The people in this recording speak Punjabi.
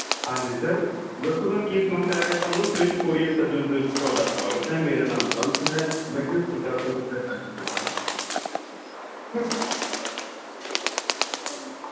ਹਾਂਜੀ sir ਦੱਸੋ sir ਕਿ ਸਮੱਸਿਆ ਆ ਰਹੀ ਏ ਤੁਹਾਨੂੰ ਸ੍ਰਿਸ਼ਟ courierservice ਦੇ ਵਿਚ ਤੁਹਾਡਾ ਸਵਾਗਤ ਹੈ ਮੇਰਾ ਨਾਮ ਬੰਤ ਏ